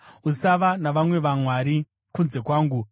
“Usava navamwe vamwari kunze kwangu.